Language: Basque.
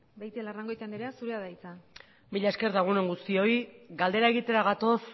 beitialarrangoitia anderea zurea da hitza mila esker eta egun on guztioi galdera egitera gatoz